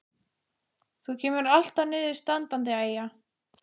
Þú kemur alltaf niður standandi, Eyja.